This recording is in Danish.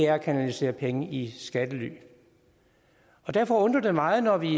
at kanalisere penge i skattely derfor undrer det meget når vi